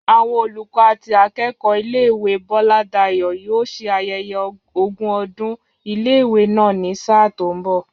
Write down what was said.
Àwọn olùkọ́ àti akẹ́kọ̀ọ́ ilé ìwé Bọ́ládayọ̀ yóò ṣe ayẹyẹ ogún ọdún ilé ìwé náà ni sáà tó ń bọ̀